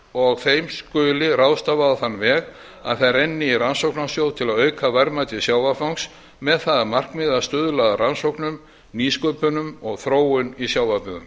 og þeim skuli ráðstafa á þann veg að þær renni í rannsóknasjóð til að auka verðmæti sjávarfangs með það að markmiði að stuðla að rannsóknum nýsköpun og þróun í sjávarbyggðum